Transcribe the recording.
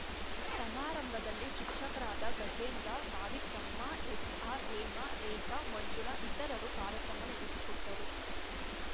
ಸಮಾರಂಭದಲ್ಲಿ ಶಿಕ್ಷಕರಾದ ಗಜೇಂದ್ರ ಸಾವಿತ್ರಮ್ಮ ಎಸ್‌ಆರ್‌ ಹೇಮಾ ರೇಖಾ ಮಂಜುಳಾ ಇತರರು ಕಾರ್ಯಕ್ರಮ ನಡೆಸಿಕೊಟ್ಟರು